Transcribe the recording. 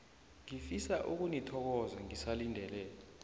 ngifisa ukunithokoza ngisalindele